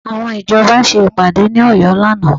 Àwọn ìjọba ṣe ìpàdé ní Ọ̀yọ́ lánàá